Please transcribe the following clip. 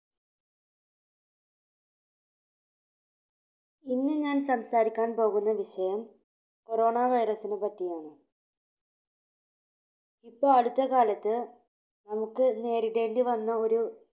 ഇന്ന് ഞാൻ സംസാരിക്കാൻ പോകുന്ന വിഷയം Corona virus നെപ്പറ്റിയാണ്. ഇപ്പൊ അടുത്ത കാലത്ത് നമുക്ക് നേരിടേണ്ടി വന്ന ഒരു